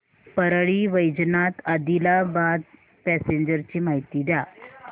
Parli Vaijnath Adilabad passenger ची माहिती द्या